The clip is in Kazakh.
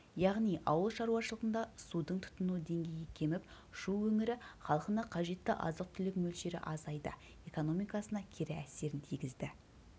яғни ауылшаруашылығында судың тұтыну деңгейі кеміп шу өңірі халқына қажетті азық-түлік мөлшері азайды экономикасына кері әсерін тигізді